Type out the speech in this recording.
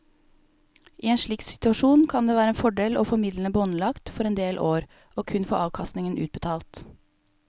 I en slik situasjon kan det være en fordel å få midlene båndlagt for en del år og kun få avkastningen utbetalt.